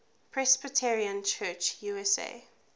presbyterian church usa